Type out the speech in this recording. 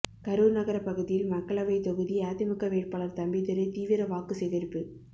கரூர் நகர பகுதியில் மக்களவை தொகுதி அதிமுக வேட்பாளர் தம்பிதுரை தீவிர வாக்கு சேகரிப்பு